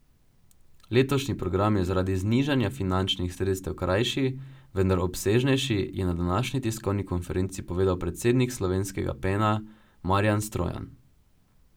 Letošnji program je zaradi znižanja finančnih sredstev krajši, vendar obsežnejši, je na današnji tiskovni konferenci povedal predsednik slovenskega Pena Marjan Strojan.